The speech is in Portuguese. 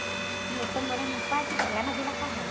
A gente começou morando num quarto e co, lá na Vila Carrão.